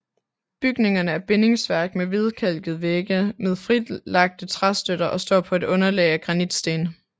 Bygningerne er bindingsværk med hvidkalkede vægge med fritlagte træstøtter og står på et underlag af granitsten